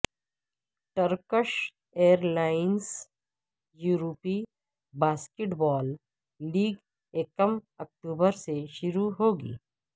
Turkish airlines یورپی basketball league یکم October سے شروع ہو گی